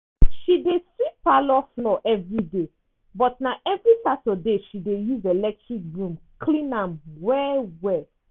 she dey sweep parlour floor everyday but na evri saturday she dey use electric broom clean am well-well.